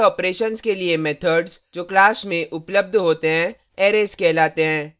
array operations के लिए methods class में उपलब्ध होते हैं arrays कहलाते हैं